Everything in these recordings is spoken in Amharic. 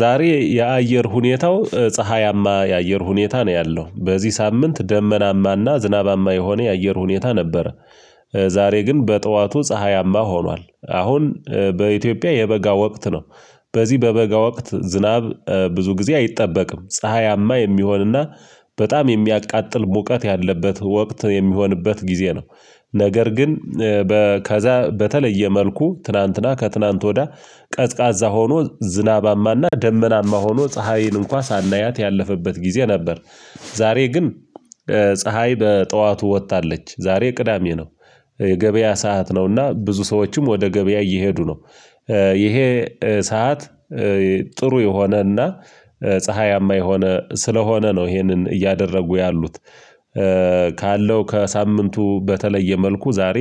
ዛሬ የአየር ሁኔታው ፀሀያማ የአየር ሁኔታ ነው ያለው በዚህ ሳምንት ደመናማና ዝናባማ የሆነ የአየር ሁኔታ ነበር። ዛሬ ግን በጠዋቱ ፀሀያማ ሆኗል አሁን በኢትዮጵያ የበጋ ወቅት ነው። በዚህ በበጋ ወቅት ዝናብ ብዙ ጊዜ አይጠበቅም ፀሀያማ የሚሆንና በጣም የሚያቃጥል ሙቀት ያለበት ወቅት የሚሆንበት ጊዜ ነው። ነገር ግን ከዛ በተለየ መልኩ ትላንትና ከትላንት ወዳ ቀዝቃዛ ሆኖ ዝናባማና ደመናማ ሆኖ ፀሀይን እንኳን ሳናያት ያለፈበት ጊዜ ነበር። ዛሬ ግን ፀሀይ በጠዋቱ ወጥታለች ዛሬ ቅዳሜ ነው። የገበያ ሰዓት ነውና ብዙ ሰዎችም ወደ ገበያ እየሄዱ ነው። ይሄ ሰዓት ጥሩ የሆነና ፀሀያማ የሆነ ስለሆነ ነው። ይሄንን እያደረጉ ያሉት። ካለው ከሳምንቱ በተለየ መልኩ ዛሬ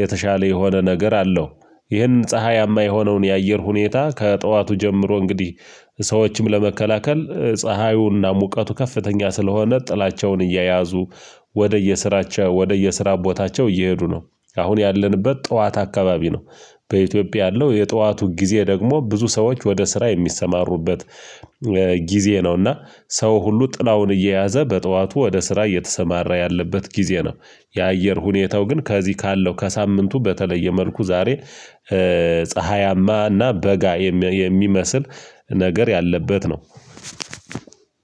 የተሻለ የሆነ ነገር አለው። ይህን ፀሀያማ የሆነውን የአየር ሁኔታ ከጠዋቱ ጀምሮ እንግዲህ ሰዎችም ለመከላከል ፀሀዩና ሙቀቱ ከፍተኛ ስለሆነ ጥላቸውን እየያዙ ወደ የስራቸው ወደ የስራ ቦታቸው እየሄዱ ነው። አሁን ያለንበት ጠዋት አካባቢ ነው። በኢትዮጵያ ያለው የጠዋቱ ጊዜ ደግሞ ብዙ ሰዎች ወደ ስራ የሚሰማሩበት ጊዜ ነው። እና ሰው ሁሉ ጥላውን እየያዘ በጠዋቱ ወደ ስራ እየተሰማራ ያለበት ጊዜ ነው። የአየር ሁኔታው ግን ከዚህ ካለው ከሳምንቱ በተለየ መልኩ ዛሬ ፀሀያማ እና በጋ የሚመስል ነገር ያለበት ነው።